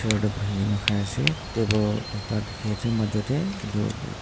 chair tae buhikaena khaiase table ekta dikhiase majo tae edu--